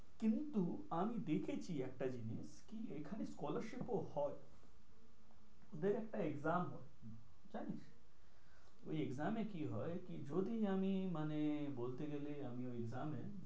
কিন্তু আমি দেখেছি একটা জিনিস কি এখানে scholarship ও হয়। দু একটা exam হয় জানিস। ওই exam এ কি হয় কি যদি আমি মানে বলতে গেলে আমি ওই exam এ,